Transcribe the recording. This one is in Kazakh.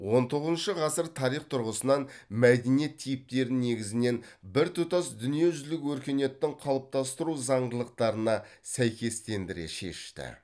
он тоғызыншы ғасыр тарих тұрғысынан мәдениет типтерін негізінен біртұтас дүниежүзілік өркениеттің қалыптастыру зандылықтарына сәйкестендіре шешті